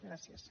gràcies